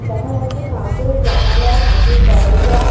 দেখা যাচ্ছে কাঁচের জানালা কাঁচের দরজা।